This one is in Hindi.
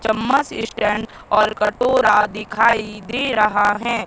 चम्मच स्टैंड और कटोरा दिखाई दे रहा है।